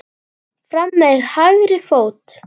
Fram með hægri fót.